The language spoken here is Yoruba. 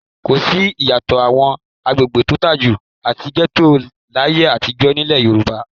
Kò sí ìyàtọ̀ àwọn agbègbè tó lajú àti gẹ́tò láyé àtijọ́ nílẹ̀ Yorùbá.